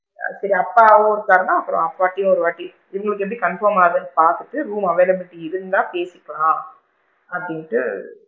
சரி அப்பாவும் இருக்காருன்னா அப்பாட்டையும் ஒரு வாட்டி single bed டு confirm ஆகுதான்னு பாத்துட்டு room availability இருந்தா பேசிக்கலாம் அப்படின்ட்டு,